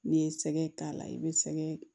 N'i ye sɛgɛ k'a la i bɛ sɛgɛ